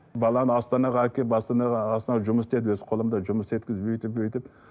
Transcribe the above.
баланы астанаға әкеліп астанаға астанада жұмыс істеді өз қолымда жұмыс істеткізіп өйтіп бүтіп